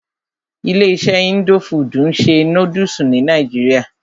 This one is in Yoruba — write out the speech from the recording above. Ilé iṣé indo fudù ń ṣe nódúsì ní nàìjíría.